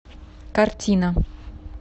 картина